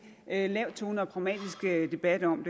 lav tone og pragmatisk debat om